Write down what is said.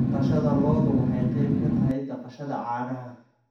Dhaqashada lo'du waxay qayb ka tahay dhaqashada caanaha.